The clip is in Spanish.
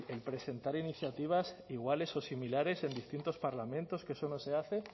el presentar iniciativas iguales o similares en distintos parlamentos que eso no se hace